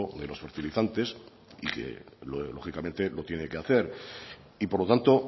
de los fertilizantes y que lógicamente lo tiene que hacer y por lo tanto